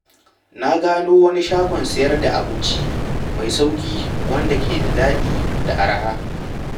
Na gano wani shagon sayar da abinci mai sauƙi wanda ke da daɗi da araha.